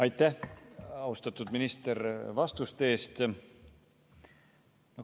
Aitäh, austatud minister, vastuste eest!